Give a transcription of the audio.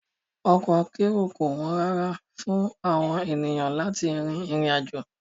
Ọkọ̀ akérò kò wọ́n rárá fún àwọn ènìyàn láti rin ìrìn àjò